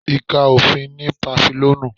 Ẹ̀ka òfin ní Pàfílíọ́nù